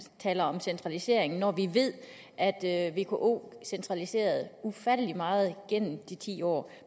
taler om centralisering når vi ved at at vko centraliserede ufattelig meget gennem de ti år